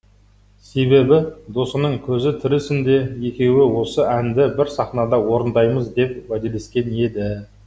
себебі досының көзі тірісінде екеуі осы әнді бір сахнада орындаймыз деп уәделескен еді